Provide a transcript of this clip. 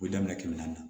O ye daminɛ kɛmɛ naani na